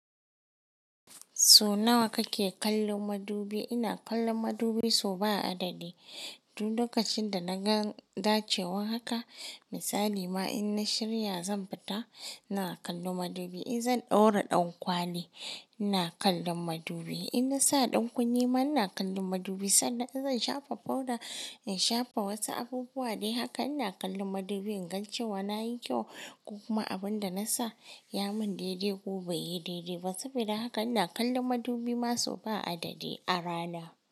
So nawa kake kallon madubi? Ina kallon madubi so ba adadi. Duk lokacin da naga dacewa haka misali ma in na shirya ma zan fita ina kallon madubi. In zan ɗaura ɗankwali ina kallon madubi. In na sa ɗankunne ma ina kallon madubi. Sanda in zan shafa powder, in shafa wasu abubuwa dai haka ina kallon madubi in ga cewa nayi kyau ko kuma abin da na sa ya mun daidai ko bai yi daidai ba. Saboda haka ina kallon madubi ma sau ba adadi a rana.